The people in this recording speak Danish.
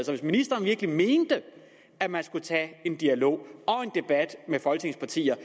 så hvis ministeren virkelig mente at man skulle tage en dialog og en debat med folketingets partier